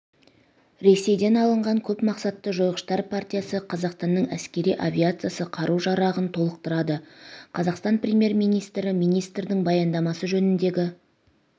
ресейден алынған көп мақсатты жойғыштар партиясы қазақстанның әскери авиациясы қару-жарағын толықтырды қазақстан премьер-министрі министрдің баяндамасы жөніндегі